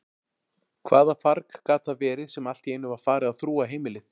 Hvaða farg gat það verið sem alltíeinu var farið að þrúga heimilið?